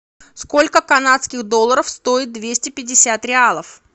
сколько канадских долларов стоит двести пятьдесят реалов